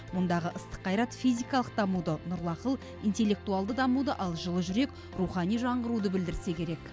мұндағы ыстық қайрат физикалық дамуды нұрлы ақыл интеллектуалды дамуды ал жылы жүрек рухани жаңғыруды білдірсе керек